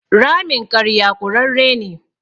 Ramin ƙarya ƙurarre ne.